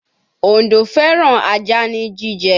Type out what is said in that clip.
Òǹdó fẹ́ràn ajá ní jíjẹ